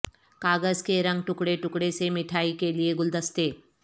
کاغذ کے رنگ ٹکڑے ٹکڑے سے مٹھائی کے لئے گلدستے